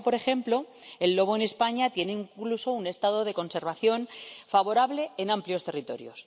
Y ahora, por ejemplo, el lobo en España tiene incluso un estado de conservación favorable en amplios territorios.